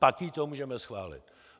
Pak jí to můžeme schválit.